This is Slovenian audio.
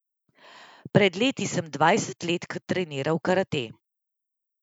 Pred leti sem dvajset let treniral karate.